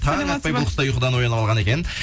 таң атпай бұл кісі де ұйқыдан оянып алған екен